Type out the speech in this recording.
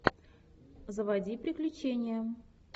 заводи приключения